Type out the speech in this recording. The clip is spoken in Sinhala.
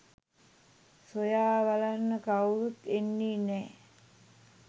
සොයා බලන්න කවුරුත් එන්නේ නෑ